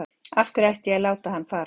Af hverju ætti ég að láta hann fara?